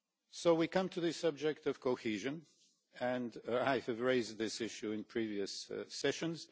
So we come to the subject of cohesion, and I have raised this issue in previous part-sessions.